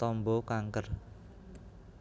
tamba kanker